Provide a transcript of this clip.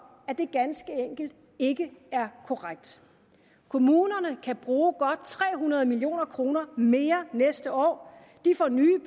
at det ganske enkelt ikke er korrekt kommunerne kan bruge godt tre hundrede million kroner mere næste år de får nye